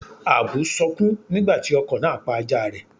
Àbú sọkún nígbà tí ọkọ̀ náà pa ajáa rẹ̀.